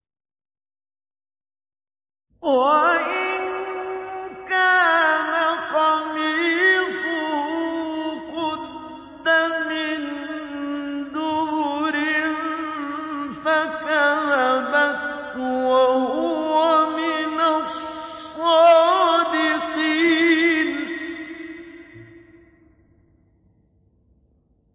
وَإِن كَانَ قَمِيصُهُ قُدَّ مِن دُبُرٍ فَكَذَبَتْ وَهُوَ مِنَ الصَّادِقِينَ